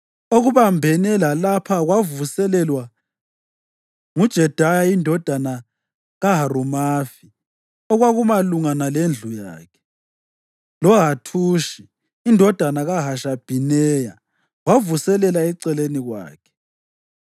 Okubambene lalapha kwavuselelwa nguJedaya indodana kaHarumafi okwakumalungana lendlu yakhe, loHathushi indodana kaHashabhineya wavuselela eceleni kwakhe.